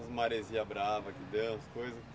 E as maresias bravas que deram as coisas?